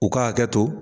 U ka hakɛ to